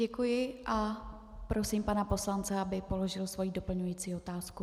Děkuji a prosím pana poslance, aby položil svoji doplňující otázku.